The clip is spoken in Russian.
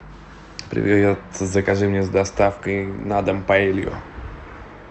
привет закажи мне с доставкой на дом паэлью